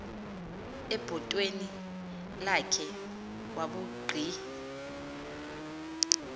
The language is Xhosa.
ebhotweni lakhe wabugqi